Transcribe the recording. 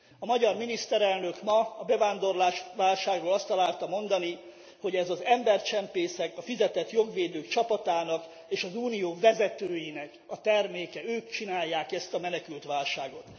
A magyar miniszterelnök ma a bevándorlásválságra azt találta mondani, hogy ez az embercsempészek, a fizetett jogvédők csapatának és az Unió vezetőinek a terméke, ők csinálják ezt a menekültválságot.